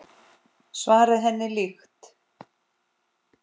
Svarið henni líkt.